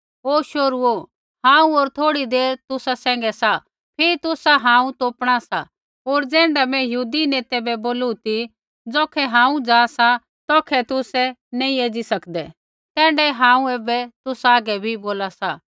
ओ शोहरूओ हांऊँ होर थोड़ी देर तुसा सैंघै सा फिरी तुसा हांऊँ तोपणा सा होर ज़ैण्ढा मैं यहूदी नेतै बै बोलू ती ज़ौखै हांऊँ जा सा तौखै तुसै नैंई एज़ी सकदै तैण्ढाऐ हांऊँ ऐबै तुसा हागै बी बोला सा